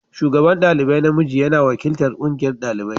shugaban dalibai na miji yana wakiltar ƙungiyar ɗalibai.